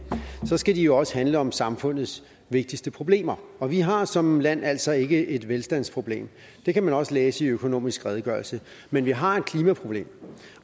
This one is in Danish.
så skal de også handle om samfundets vigtigste problemer og vi har som land altså ikke et velstandsproblem det kan man også læse i økonomisk redegørelse men vi har et klimaproblem